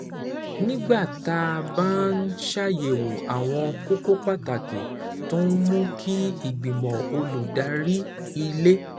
Nígbà tá a bá ń ṣàyẹ̀wò àwọn kókó pàtàkì tó ń mú kí ìgbìmọ̀ olùdarí ilé